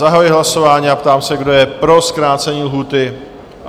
Zahajuji hlasování a ptám se, kdo je pro zkrácení lhůty?